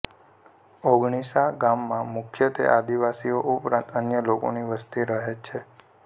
ઓગણીસા ગામમાં મુખ્યત્વે આદિવાસીઓ ઉપરાંત અન્ય લોકોની વસ્તી રહે છે